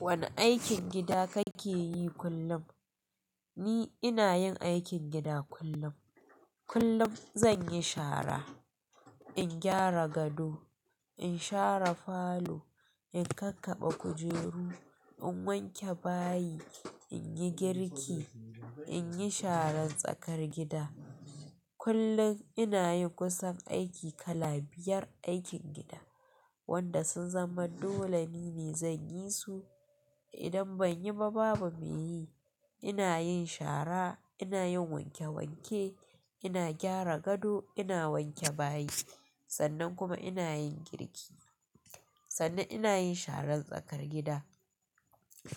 Wane aikin gida kake yi kullum? Ni ina yin aikin gida kullum. Kullum zan yi shara, in gyara gado, in share falo, in kakkabe kujeru, in wanke bayi, in yi girki, in yi sharan tsakar gida. Kullum ina yin kusan aiki kala biyar aikin gida wanda sun zama dole ni ne zan yi su idan ban yi ba babu mai yi. Ina yin shara, ina yin wanke wanke, ina gyara gado, ina wanke bayi sannan kuma ina yin girki. Sannan ina yin sharan tsakar gida.